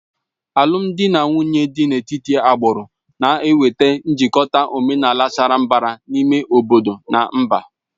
Alụmdi na nwunye dị n'etiti agbụrụ na-enweta njikọta omenala sara mbara n'ime obodo na mba